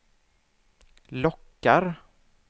lockar